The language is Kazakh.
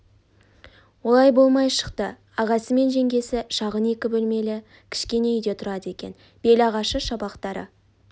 олай болмай шықты ағасы мен жеңгесі шағын екі бөлмелі кішкене үйде тұрады екен бел ағашы шабақтары